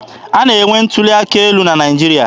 A na-enwe ntuli aka elu na Naịjirịa.